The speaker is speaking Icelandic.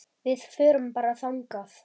Við förum bara þangað!